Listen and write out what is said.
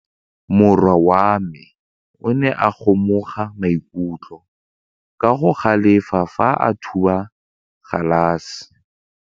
Morwa wa me o ne a kgomoga maikutlo ka go galefa fa a thuba galase.